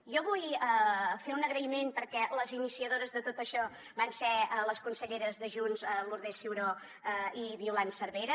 jo vull fer un agraïment perquè les iniciadores de tot això van ser les conselleres de junts lourdes ciuró i violant cervera